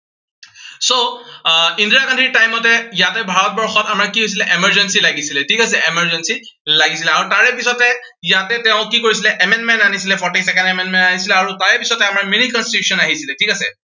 so আহ ইন্দিৰা গান্ধীৰ time তে ইয়াতে ভাৰতবৰ্ষত আমাৰ কি হৈছিলে, emergency লাগিছিলে, ঠিক আছে, emergency লাগিছিলে। আৰু তাৰে পিছতে ইয়াতে তেওঁ কি কৰিছিলে amendment আনিছিলে। forty second amendment আনিছিলে আৰু তাৰে পিছতে আমাৰ mini constitution আহিছিলে, ঠিক আছে।